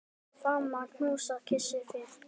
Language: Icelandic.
Faðma, knúsa, kyssi þig.